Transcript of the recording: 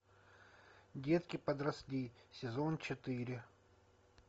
детки подросли сезон четыре